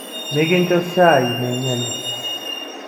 Mikincho shaai nainyale.